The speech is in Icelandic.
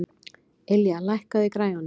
Ylja, lækkaðu í græjunum.